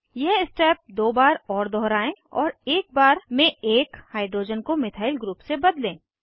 यह स्टेप दो बार और दोहराएं और एक बार में एक हाइड्रोजन को मिथाइल ग्रुप से बदलें